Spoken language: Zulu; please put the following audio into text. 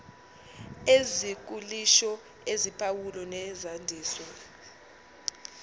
ezikhuliso eziphawulo nezandiso